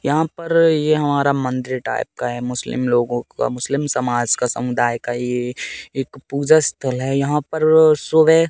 यहां पर ये हमारा मंदिर टाइप का है मुस्लिम लोगों का मुस्लिम समाज का समुदाय का ये एक पूजा स्थल है यहां पर सुबह--